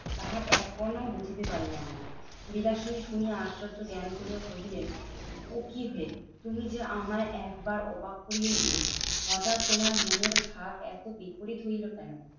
তাহার এক কণাও বুঝিতে পারিলাম না। বিলাসিনী শুনিয়া আশ্চর্য জ্ঞান করিয়া কহিলেন, ও কি হে? তুমি যে আমায় একবার অবাক করিয়ে দিলে। হটাৎ তোমার মনের ভাব এত বিপরীত হইলো কেন?